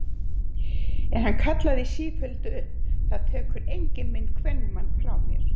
En hann kallaði í sífellu upp: Það tekur enginn minn kvenmann frá mér!